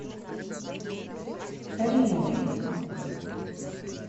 халимовой